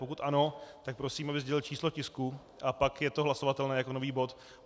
Pokud ano, tak prosím, aby sdělil číslo tisku, a pak je to hlasovatelné jako nový bod.